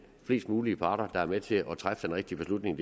flest mulige parter med til at træffe den rigtige beslutning